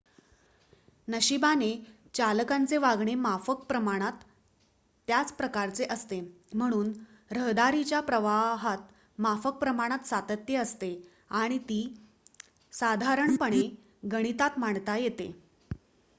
नशिबाने चालकांचे वागणे माफक प्रमाणात त्याच प्रकारचे असते म्हणून रहदारीच्या प्रवाहात माफक प्रमाणात सातत्य असते आणि ती साधारणपणे गणितात मांडता येते